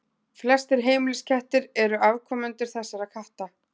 Flestir heimiliskettir eru afkomendur þessara katta.